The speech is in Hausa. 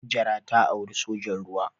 Hajara ta auri sojan ruwa.